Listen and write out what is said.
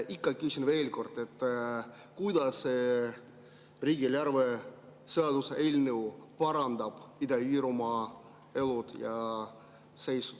Küsin ikka veel kord, kuidas riigieelarve seaduse eelnõu parandab Ida-Virumaa elu ja seisu.